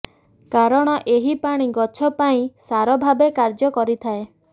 କାରଣ ଏହି ପାଣି ଗଛ ପାଇଁ ସାର ଭାବେ କାର୍ଯ୍ୟ କରିଥାଏ